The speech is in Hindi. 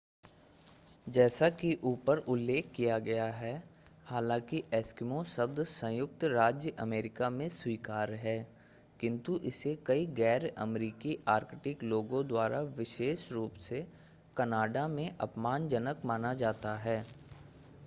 जैसा कि ऊपर उल्लेख किया गया है हालांकि एस्किमो शब्द संयुक्त राज्य अमेरिका में स्वीकार्य है किन्तु इसे कई गैर-अमरीकी आर्कटिक लोगों द्वारा विशेष रूप से कनाडा में अपमानजनक माना जाता है